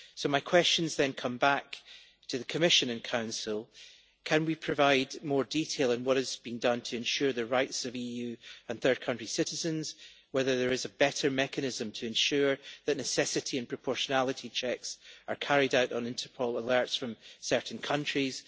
My questions then come back to the Commission and Council can we provide more detail on what has been done to ensure the rights of EU and third-country citizens, and whether there is a better mechanism to ensure that necessity and proportionality checks are carried out on Interpol alerts from certain countries.